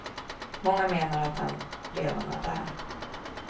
Många menar att han redan är där.